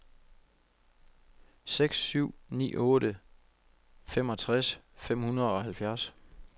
seks syv ni otte femogtres fem hundrede og halvfjerds